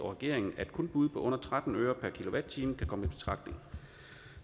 og regeringen at kun bud på under tretten øre per kilowatt time kan komme i betragtning